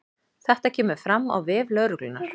Þetta kemur fram á vef lögreglunnar